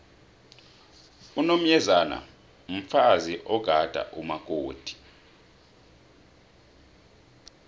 unomyezane mfazi ogada umakoti